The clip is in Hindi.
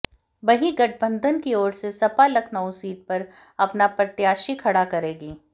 वहीं गठबंधन की ओर से सपा लखनऊ सीट पर अपना प्रत्याशी खड़ा करेगी